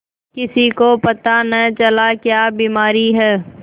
किसी को पता न चला क्या बीमारी है